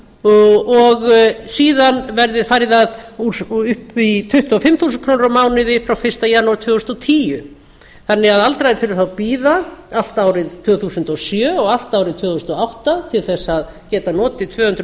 og upp í tuttugu og fimm þúsund krónur á mánuði frá fyrsta janúar tvö þúsund og tíu þannig að aldraðir þurfa þá að bíða allt árið tvö þúsund og sjö og allt árið tvö þúsund og átta til að geta notið tvö hundruð